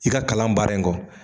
I ka kalan baara in kɔ